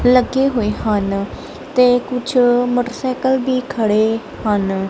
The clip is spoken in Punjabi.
ਲੱਗੇ ਹੋਏ ਹਨ ਤੇ ਕੁਛ ਮੋਟਰਸਾਈਕਲ ਭੀ ਖੜੇ ਹਨ।